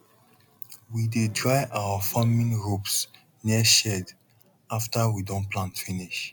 we dey dry our farming ropes near shed after we don plant finish